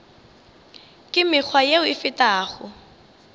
ka mekgwa yeo e fetago